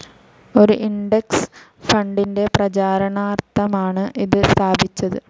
ഒരു ഇൻഡെക്സ്‌ ഫണ്ടിന്റെ പ്രചരണാർത്ഥമാണ് ഇത് സ്ഥാപിച്ചത്.